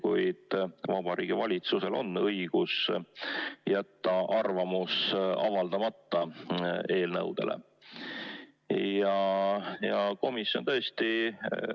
Kuid Vabariigi Valitsusel on õigus jätta arvamus eelnõude kohta avaldamata.